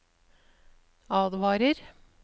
advarer